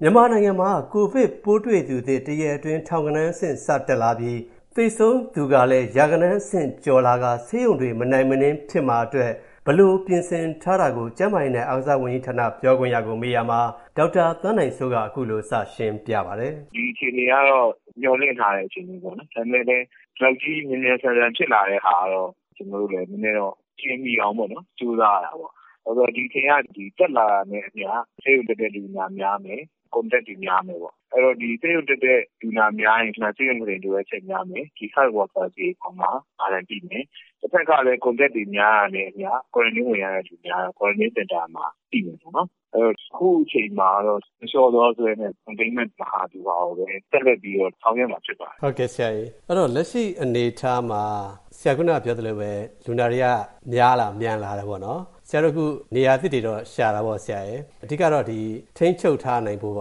မြန်မာနိုင်ငံမှာ ကိုဗစ်ပိုးတွေ့သူသစ် တစ်ရက်အတွင်း ထောင်ဂဏန်းအဆင့်စတက်လာပြီး၊ သေဆုံးသူပေါင်းကလည်း ရာဂဏန်းအဆင့်စကျော်လာကာ၊ ဆေးရုံတွေမနိုင်မနင်းဖြစ်မှာအတွက် ဘယ်လိုပြင်ဆင်ထားတာကို၊ ကျန်းမာရေးနဲ့ အားကစားဝန်ကြီးဌာန ပြောခွင့်ရကို ကိုဝင်းမင်းက မေးရာမှာ၊ ဒေါက်တာသန်းနိုင်စိုးက အခုလိုစရှင်းပြပါတယ်။ ဒီအခြေအနေကတော့ မျှော်လင့်ထားတဲ့အခြေအနေပေါ့နော်။ ဒါပေမယ့် ဒီလောက်ကြီး မြန်မြန်ဆန်ဆန် ဖြစ်လာတဲ့ဟာကိုတော့ ကျနော်တို့လည်း နည်းနည်းတော့ အလျှင်မီအောင်ကြိုးစားရတာပေါ့။ ဒီအခြေအနေက တက်လာတာနဲ့အမျှ ဆေးရုံတက်တဲ့လူနာများမယ်၊ Contact တွေများမယ်။ အဲဒီတော့ ဆေးရုံတက်တဲ့လူနာများလာရင် ဆေးရုံကုတင်လိုအပ်ချက်များမယ်။ Health Workers တွေအပေါ်မှာ Burden ပိမယ်။ တဖက်ကလည်း Contact တွေများလာတာနဲ့အမျှ၊ ကွာရန်တင်း ဝင်ရတဲ့သူတွေ ကွာရန်တင်းစင်တာမှာ ပိမယ်ပေါ့နော်။ အခုအချိန်မှာတော့ မလျှော့သောဇွဲနဲ့၊ Containment မဟာဗျူဟာကိုပဲ ဆက်လက်ပြီးတော့ ဆောင်ရွက်မှာဖြစ်ပါတယ်။ ဟုတ်ကဲ့ဆရာရေ ။ အဲဒီတော့ လက်ရှိအနေအထားမှာ ဆရာခုနက ပြောသလိုပဲ၊ လူနာတွေက များလာ၊ မြန်လာတယ်ပေါ့နော်။ ဆရာတို့အခု နေရာသစ်တွေတော့ရှာတာပေါ့ ဆရာရယ်။ အဓိကတော့ ဒီ ထိန်းချုပ်ထားနိုင်ဖို့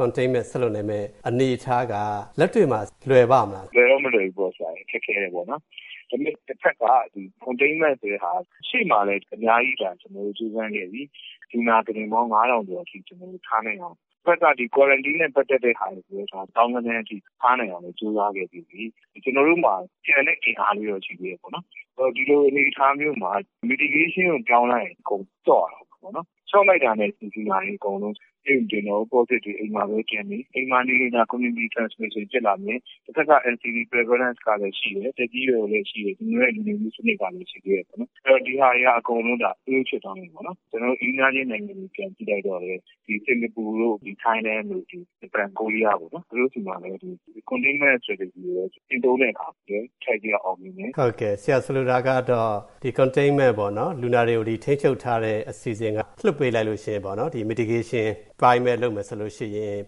Containment ဆက်လုပ်နိုင်မယ့် အနေအထားက လက်တွေ့မှာ လွယ်ပါ့မလား။ လွယ်တော့မလွယ်ဘူးပေါ့ဆရာရယ်၊ ခက်ခဲတယ်ပေါ့နော်။ ဒါပေမယ့် တဘက်က ဒီ Containment ဆိုတာက အရှေ့မှာလည်း အများကြီး ကျနော်တို့ ကြိုးပမ်းခဲ့ပြီးပြီ။ လူနာ ကုတင်ပေါင်း ၅၀၀၀ ကျော်အထိ ထားနိုင်အောင်။ တဖက်က ကွာရန်တင်း နဲ့ ပတ်သတ်တာကိုလည်း သောင်းဂဏန်းအထိ ထားနိုင်အောင် ကြိုးစားခဲ့ပြီးပြီ။ ကျနော်တို့မှာ ကျန်တဲ့အင်အားလေးတော့ ရှိသေးတယ်ပေါေ့နာ်။ ဒီလို အနေအထားမျိုးမှာ Mitigation ကိုပြောင်းလိုက်ရင် အကုန် လျော့ရတော့မှာပေါ့နော်။ လျော့လိုက်ရင် လူနာတွေအကုန်လုံး ဆေးရုံတငတာရော Positive တွေ အိမ်မှာပဲပြန်နေ၊ ဒါ အိမ်မှာနေရင် Community Transmission ဖြစ်လာမယ်။ တဖက်ကလည်း NCD Prevalence ကလည်းရှိတယ်၊ သက်ကြီးရွယ်အိုတွေလည်းရှိတယ်။ ကျွန်တော်တို့ရဲ့ နေထိုင်မှုစနစ်ကလည်း ရှိသေးတယ်ပေါ့နော်။ အဲဒါ အကုန်လုံးက Fail ဖြစ်သွားမယ်ပေါ့နော်။ ကျနော်တို့ အိမ်နီးနားချင်းနိုင်ငံတွေကို ပြန်ကြည့်လိုက်ရင်လည်း စင်္ကာပူ၊ ထိုင်း၊ ဂျပန်၊ ကိုရီးယားတို့ပေါေ့နာ်၊ သူတို့ဆီမှာလည်း Containment Strategy ကိုပဲ ကျင့်သုံးတဲ့အခါ အထိုက်အလျောက်အောင်မြင်တယ်။ ဟုတ်ကဲ့ ဆိုလိုတာကတော့ ဒီ Containment ပေါ့နော် လူနာတွေကို ထိန်းချုပ်ထားတဲ့ အစီအစဉ်က၊ လွှတ်ပေးလိုက်ရင် ဒီ Mitigation အပိုင်းပဲ လုပ်မယ်ဆိုရင်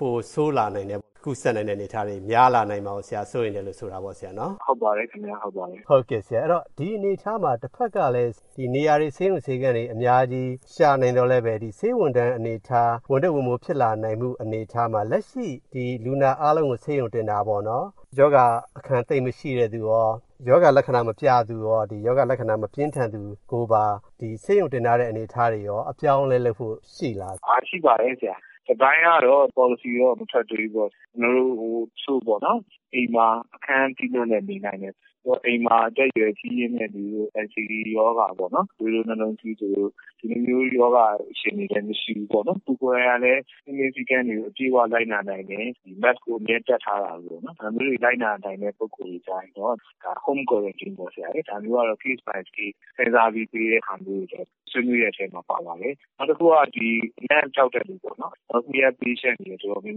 ပိုဆိုး လာနိုင်တဲ့၊ ကူးစက်နိုင်တဲ့အနေအထား များလာမှာကို၊ ဆရာစိုးရိမ်တယ်လို့ ဆိုတာပေါ့နော် ဆရာ။ ဟုတ်ပါတယ်ခင်ဗျ။ ဟုတ်ကဲ့ ဆရာ၊ အဲဒီတော့ ဒီအနေအထားမှာ တဘက်ကလည်း နေရာတွေ ဆေးရုံဆေးခန်းတွေ အများကြီးရှာနိုင်သော်လည်း၊ ဆေးရုံဝန်ထမ်းအနေအထား ဝန်ထုတ်ဝန်ပိုးဖြစ်လာနိုင်တဲ့အနေအထားမှာ၊ လက်ရှိ ဒီလူနာအားလုံးကို ဆေးရုံတင်တာပေါ့နော် ရောဂါအခံ သိပ်မရှိတဲ့ သူရော၊ ရောဂါလက္ခဏာမပြသူရော၊ ရောဂါလက္ခဏာမပြင်းထန်သူကိုပါ ဒီဆေးရုံတင်ထားတဲ့အနေအထားတွေရော အပြောင်းအလဲလုပ်ဖို့ ရှိလား။ ရှိပါတယ်ဆရာ ။ တစ်ပိုင်းကတော့ ပေါ်လစီတော့ မထွက်သေးဘူးပေါ့နော်။ အိမ်မှာ အခန်း သီးသန့်နဲ့ နေနိုင်တယ်။ အိမ်မှာ အသက်အရွက်ကြီးတဲ့သူတွေနဲ့ NCD ရောပါပေါ့နော်၊ သွေးတိုး၊ နှလုံး၊ ဆီးချိုတို့လို ရောဂါသည်တွေလည်းမရှိဘူးပေါ့နော်။ သူကိုယ်တိုင်ကလည်း စည်းကမ်းတွေကို အပြည့်အ၀ လိုက်နာနိုင်တယ်၊ ဒီ Mask ကိုအမြဲတပ်ထားတာမျိုးပေါ့နော်။ ဒါမျိုးတွေ လိုက်နာနိုင်တဲ့လူတွေကိုတော့ Home Quarantine ပေါ့ဆရာရယ်၊ ဒါမျိုးကတော့ Case by Case စဥ်းစားပြီးပေးတာမျိုးတွေကို ကျနော်တို့ ဆွေးနွေးတဲ့အထဲမှာ ပါပါတယ်။ နောက်တစ်ခုက ဒီအနံ့ပျောက်တဲ့လူပေါ့နော်၊ အဲဒီ Anosmia Patient တွေတော်တော်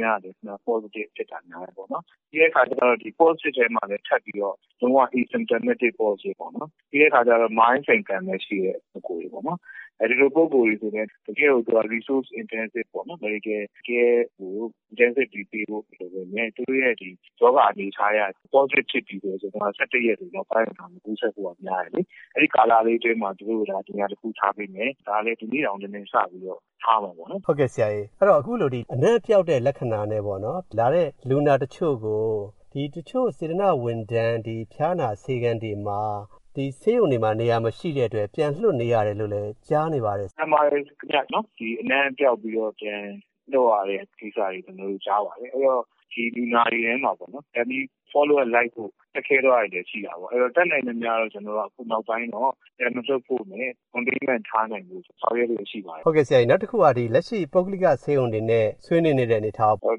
များများကလည်း Positive ဖြစ်တာများတယ်။ ပြီးတဲ့အခါကျရင်လည်း ဒီ Positive ဖြစ်တဲ့အထဲမှာ ထပ်ပြီးတော့ Asymptomatic Positive ပေါ့နော် ။ ပြီးတော့ Mild Symptom လည်းရှိတယ်။ ဒီလိုလူတွေက တကယ့်ကို Resource Intensive ပေါ့နော်၊ တကယ့်ကို Medical Care ကို၊ Intensively ပေးဖို့မလိုပေမယ့်၊ သူတို့ရဲ့ရောဂါအနေအထားအရ Positive ဖြစ်ပြီဆိုရင်၊ ၁၁ ရက်နောက်ပိုင်းက မကူးစက်ဖို့က များတယ်လေ။ အဲဒီကာလလေးအတွင်းမှာ သူတို့ကို နေရာတစ်ခုထားပေးမယ်။ ဒီနေ့တောင် နည်းနည်းစပြီးတော့ အခုလို ထားမယ်ပေါ့နော်။ ဟုတ်ကဲ့ ဆရာ အခုဒီ အနံ့ပျောက်တဲ့ လက္ခဏာနဲ့လာတဲ့ လူနာတချို့ကို တချို့ စေတနာ့ဝန်ထမ်း ၊ ဖျားနာဆေးခန်းတွေမှာ ဒီဆေးရုံတွေမှာ နေရာမရှိတဲ့အတွက် ပြန်လွှတ်နေရတယ်လို့လည်း ကြားနေပါတယ်။ မှန်ပါတယ်ခင်ဗျ အနံ့ ပျောက်ပြီးတော့ ပြန်လွှတ်ရတဲ့ ကိစ္စတွေ ကျနော်တို့ ကြားပါတယ်။ အဲဒီတော့ ဒီလူနာတွေထဲမှာ ပြန်ပြီးတော့ Follow-up လိုက်ဖို့ ခက်ခဲသွားတာတွေလည်း ရှိတာပေါ့။ တတ်နိုင်သမျှတော့ အခုနောက်ပိုင်းမှာတော့ ပြန်မလွှတ်ဖို့နဲ့၊ Containment ထားနိုင်ဖို့ ဆောင်ရွက်လျှက်ရှိပါတယ်။ ဟုတ်ကဲ့ဆရာရေ၊ နောက်တစ်ခုက လက်ရှိ ပုဂ္ဂလိက ဆေးရုံတွေနဲ့ ဆွေးနွေးနေတဲ့ အနေအထားရော။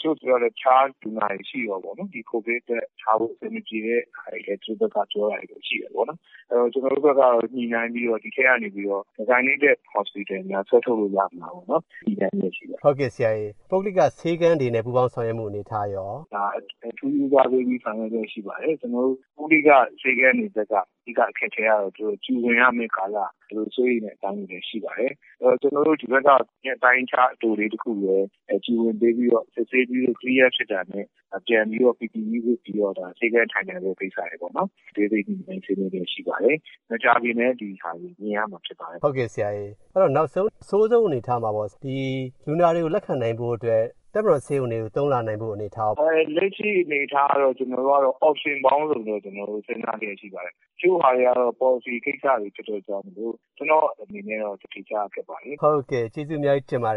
တချို့ဆေးရုံတွေကပြောတယ်၊ တခြားလူနာတွေရှိတယ်ပေါ့နော်။ ဒီ COVID နဲ့တွဲထားဖို့ အဆင်မပြေတဲ့ဟာတွေလည်း ပြောတာရှိတယ်ပေါေ့နာ်။ ဆိုတော့ ကျနော်တို့ဘက်ကတော့ ညှိနှိုင်းပြီးတော့၊ ဒီအထဲကနေပြီးတော့ Designated Hospitals တွေများ ဆွဲထုတ်လို့ရမလားပေါ့နော်၊ ညှိနှိုင်းလျှက်ရှိပါတယ်။” ဟုတ်ကဲ့ဆရာရေ ပုဂ္ဂလိက ဆေးခန်းတွေနဲ့ ပူးပေါင်းဆောင်ရွက်မှုှုအနေအထားရော။ ဒါကိုအထူးဦးစားပေးပြီးဆောင်ရွက်လျှက်ရှိပါတယ်။ ကျနော်တို့ ပုဂ္ဂလိက ဆေးခန်းတွေဘက်က၊ အဓိက အခက်အခဲကတော့ Q ဝင်ရမယ့် ကာလကို စိုးရိမ်တာတွေလည်းရှိပါတယ်။ ကျနော်တို့ ဒီဘက်က အပိုင်းအခြားအတိုလေးတစ်ခု Q ဝင်ပေးပြီးတော့ စစ်ဆေးလို့၊ Clear ဖြစ်တာနဲ့ ပြန်ပြီးတော့၊ PPE ဝတ်ပြီးတော့၊ ဆေးခန်းထိုင်နိုင်ဖို့ကိစ္စတွေပေါ့နော်၊ အသေးစိတ် ညှိနှိုင်းဆွေးနွေးလျက်ရှိပါတယ်။ မကြာခင်လည်း ဒါတွေ မြင်ရမှာဖြစ်ပါတယ်။ ဟုတ်ကဲ့ဆရာရေ နောက်ဆုံး အဆိုးဆုံးအနေအထားမှာ လူနာတွေကို လက်ခံနိုင်ဖို့အတွက်၊ ရှိထားပြီးသား တပ်မတော်ဆေးရံတွေကို သုံးလာနိုင်ဖို့အနေအထားရော။ လက်ရှိအနေအထားကိုတော့၊ ကျနော်တို့ Option ပေါင်းစုံနဲ့ စဉ်းစားလျှက်ရှိပါတယ်။ တချို့ဟာတွေကတော့ Policy ကိစ္စတွေဖြစ်တဲ့အတွက်၊ ကျနော့်အနေနဲ့ ဖြေကြားဖို့ ခက်ပါတယ်။ ဟုတ်ကဲ့ ကျေးဇူးအများကြီးတင်ပါတယ်